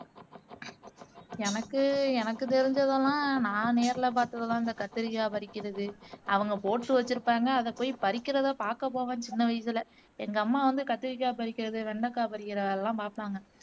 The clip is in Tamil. எனக்கு எனக்கு தெரிஞ்சதெல்லாம் நா நேருலே பார்த்ததுலாம் இந்த கத்தரிக்காய் பறிக்கிறது அவங்க போட்டு வச்சுருப்பாங்க அத போய் பறிக்கிறத பாக்க போவேன் சின்ன வயசுலே எங்க அம்மா வந்து கத்தரிக்காய் பறிக்கிறது வெண்டக்காய் பறிக்கிற வேலையெல்லாம் பார்ப்பாங்க